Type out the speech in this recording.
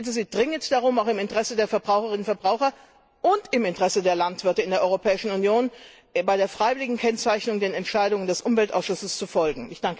Ich bitte Sie dringend darum, auch im Interesse der Verbraucherinnen und Verbraucher und im Interesse der Landwirte in der Europäischen Union bei der freiwilligen Kennzeichnung den Entscheidungen des Umweltausschusses zu folgen.